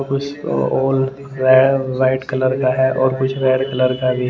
कुछओ औ रे white colour का है और कुछ रेड कलर का भी --